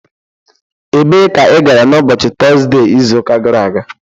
Ebee ka ị gara n' ụbọchị Tọzde izu ụka gara aga?